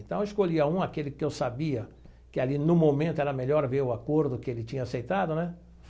Então eu escolhia um, aquele que eu sabia que ali no momento era melhor ver o acordo que ele tinha aceitado, né?